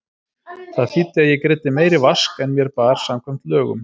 Það þýddi að ég greiddi meiri vask en mér bar samkvæmt lögum.